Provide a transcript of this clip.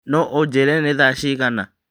no ũnjĩĩre nĩ thaa cigana